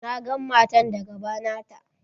Na gan matan da gaba nata.